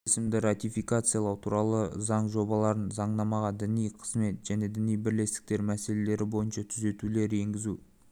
келісімді ратификациялау туралы заң жобаларын заңнамаға діни қызмет және діни бірлестіктер мәселелері бойынша түзетулер енгізу